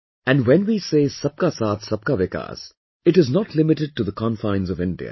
And when we say Sabka Saath, Sabka Vikas, it is not limited to the confines of India